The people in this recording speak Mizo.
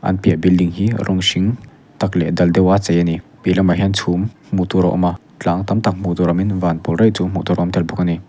a piah building hi rawng hring tak leh dal deuh a chei ani piah lamah hian chhum hmuhtur a awm a tlang tamtak hmuhtur awmin van pawl raih chu hmuhtur a awm telbawk ani.